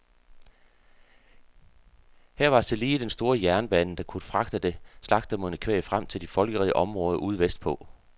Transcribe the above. Her var tillige den store jernbane, der kunne fragte det slagtemodne kvæg frem til de folkerige områder ude vestpå.